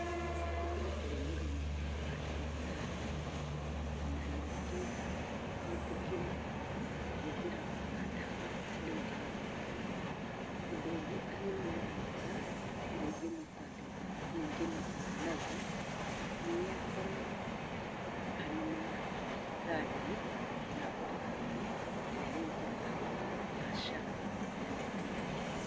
Etĩkĩre kũrũmĩrĩra mawatho ma ndagĩtarĩ na ningĩ etikĩre kũhũthĩra ona ndawa ũrĩa erĩtwo. Ũndũ ũngĩ agĩrĩirwo nĩ gwĩka na ingĩmutarĩrĩria, ingimũtaara naguo, nĩ akorwo arĩ na kandi ya ũrigiti ĩrĩa rĩu tũrahũthĩra ya SHA na nĩĩkũmũteithia.